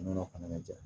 Nɔnɔ fana mɛ ja